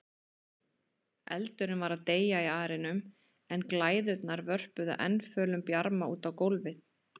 Eldurinn var að deyja í arninum en glæðurnar vörpuðu enn fölum bjarma út á gólfið.